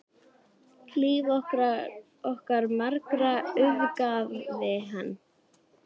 Líf okkar margra auðgaði hann.